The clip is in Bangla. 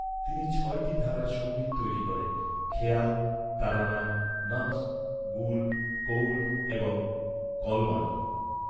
তিনি ছয়টি ধারার সঙ্গীত তৈরি করেন, খেয়াল, তারানা, নকশ্, গুল, কউল এবং কলবানা।